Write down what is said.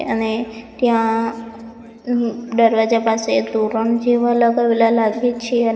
અને ત્યાં અં દરવાજા પાસે તોરણ જેવા લગાવેલા લાગે છે અને --